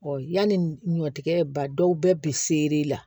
yanni ɲɔtigɛ ba dɔw bɛɛ bi seri la